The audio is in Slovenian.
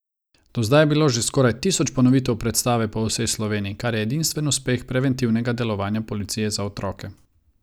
Do zdaj je bilo že skoraj tisoč ponovitev predstave po vsej Sloveniji, kar je edinstven uspeh preventivnega delovanja policije za otroke.